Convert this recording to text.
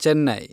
Chennai